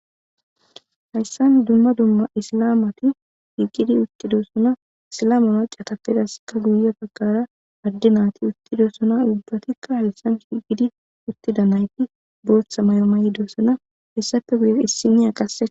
hayssan dumma dumma isilamati higidi uttidossona isilamanaccatappedaskka guyo takara adde naati uttidosona dubbatikka hayssan shigidi uttida nayti booththa may7o mayidoosana hessappe guye issiniya qasse